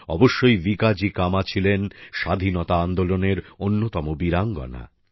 অবশ্যই ভিকাজি কামা ছিলেন স্বাধীনতা আন্দোলনের অন্যতম বীরাঙ্গনা